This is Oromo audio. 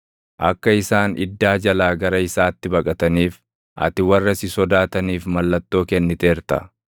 Akka isaan iddaa jalaa gara isaatti baqataniif, ati warra si sodaataniif mallattoo kenniteerta.